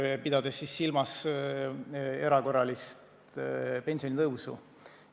Ta pidas silmas erakorralist pensionitõusu.